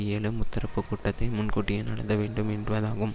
ஏழு முத்தரப்பு கூட்டத்தை முன்கூட்டியே நடந்த வேண்டும் என்பதாகும்